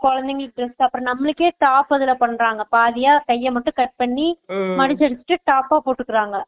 குழந்தைகளுக்கு dress அப்பறம் நம்மளுக்கே பாத்ததுல பண்றாங்க கைய மட்டும் cut பண்ணி மடுச்சு அடுச்சு shorts சா போட்டுகிறாங்க